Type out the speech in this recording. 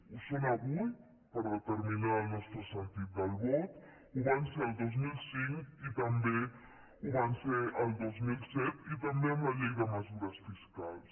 ho són avui per determinar el nostre sentit del vot ho van ser el dos mil cinc i també ho van ser el dos mil set i també en la llei de mesures fiscals